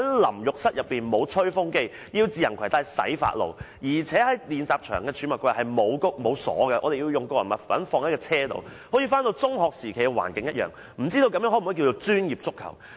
淋浴室內沒有吹風機，要自行攜帶洗髮露，而且練習場的儲物櫃沒有提供鎖，我們要把個人物品放在車上，好像回到中學時期的環境一樣，不知這可否稱為專業足球？